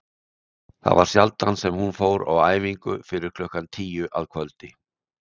Það var sjaldan sem hún fór á æfingu fyrir klukkan tíu að kvöldi.